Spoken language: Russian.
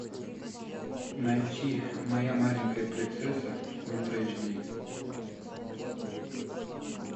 найти моя маленькая принцесса ультра эйч ди